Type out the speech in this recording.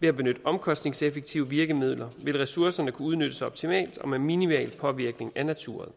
ved at benytte omkostningseffektive virkemidler vil ressourcerne kunne udnyttes optimalt og med minimal påvirkning af naturen